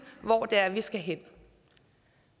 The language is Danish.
hvor det er vi skal hen